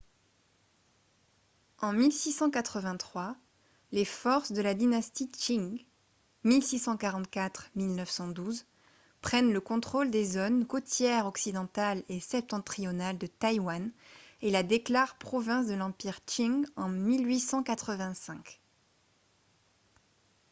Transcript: en 1683 les forces de la dynastie qing 1644-1912 prennent le contrôle des zones côtières occidentale et septentrionale de taïwan et la déclarent province de l'empire qing en 1885